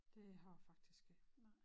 Det har jeg faktisk ikke